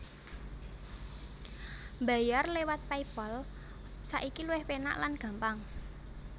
Mbayar lewat Paypal saiki luwih penak lan gampang